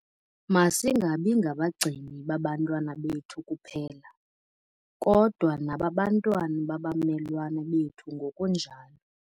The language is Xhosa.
Masingabi ngabagcini babantwana bethu kuphela, kodwa nababantwana babamelwane bethu ngokunjalo.